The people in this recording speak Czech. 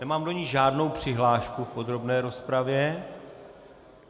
Nemám do ní žádnou přihlášku v podrobné rozpravě.